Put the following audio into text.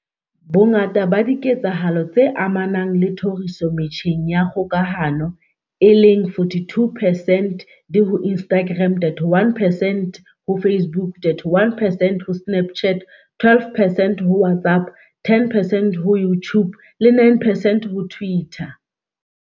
Bongata ba diketsahalo tse amanang le tlhoriso metjheng ya kgokahano, e leng 42 percent, di ho Instagram, 31 percent ho Facebook, 31percent ho Snapchat, 12 percent ho WhatsApp, 10 percent ho YouTube le 9 percent ho Twitter.